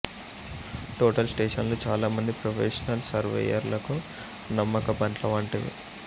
total స్టేషన్లు చాలా మంది ప్రొఫెషనల్ సర్వేయర్లకు నమ్మకబంట్ల వంటివి